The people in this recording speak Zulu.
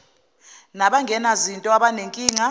naban genazinto abanenkinga